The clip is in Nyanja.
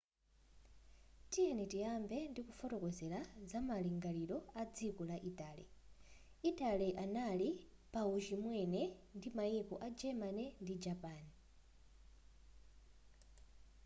tiyeni tiyambe ndi kufotokozera zamalingaliro a dziko la italy italy anali pa uchimwene ndi maiko a germany ndi japan